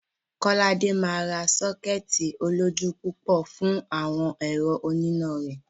Kọ́ládé máa ra sọ́kẹ́ẹ̀tì olójú púpọ̀ fún àwọn ẹ̀rọ oníná rẹ̀.